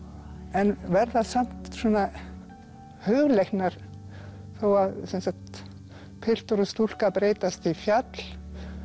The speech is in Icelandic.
en verða samt svona hugleiknar þó að sem sagt piltur og stúlka breytast í fjall